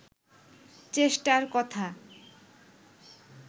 চেষ্টার কথা